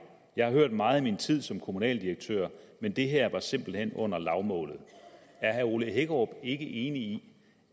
jeg har hørt meget i min tid som kommunaldirektør men det her var simpelt hen under lavmålet er herre ole hækkerup ikke enig i